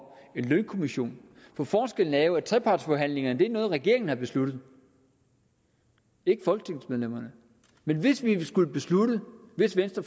en lønkommission for forskellen er jo at trepartsforhandlingerne er noget regeringen har besluttet ikke folketingsmedlemmerne men hvis vi skulle beslutte det hvis venstre